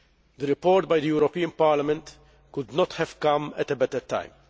The report by the European Parliament could not have come at a better time.